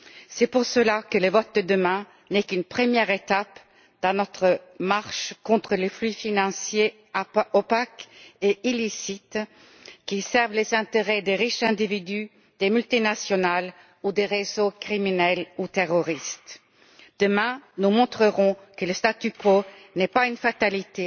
C'est pour cela que le vote de demain n'est qu'une première étape dans notre marche contre les flux financiers opaques et illicites, qui servent les intérêts des riches individus, des multinationales ou des réseaux criminels ou terroristes. Demain, nous montrerons que le statu quo n'est pas une fatalité